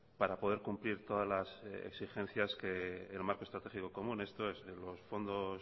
para poder cumplir todas las exigencias que el marco estratégico común esto es de los fondos